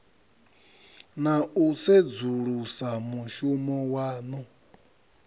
na u sedzulusa mushumo waṋu